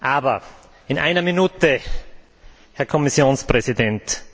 Aber eine Minute, Herr Kommissionspräsident.